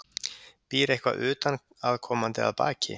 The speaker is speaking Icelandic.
Býr eitthvað utanaðkomandi að baki?